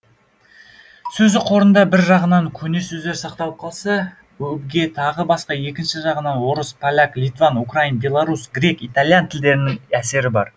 сөздік қорында бір жағынан көне сөздер сақталып қалса өбге тағы басқа екінші жағынан орыс поляк литван украин белорус грек итальян тілдерінің әсері бар